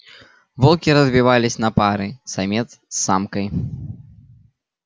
волки разбивались на пары самец с самкой